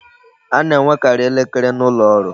A na-enwekarị elekere n'ụlọ ọrụ